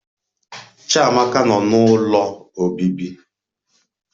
Chiamaka Nọ n'Ụlọ Obibi